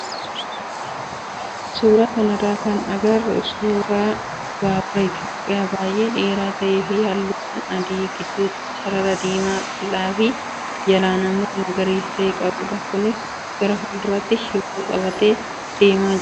Suuraa kanarraa kan agarru suuraa baabura Itoophiyaa baay'ee dheeraa ta'ee fi halluuwwan adii, gidduutii sarara diimaa qal'aa fi jalaan immoo magariisa ta'e qabudha. Kunis gara fuulduraatti shiboo qabatee adeemaa jira.